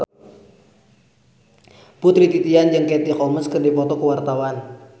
Putri Titian jeung Katie Holmes keur dipoto ku wartawan